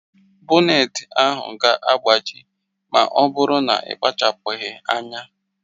Boneti ahụ ga-agbaji ma ọ bụrụ na ị kpachapụghị anya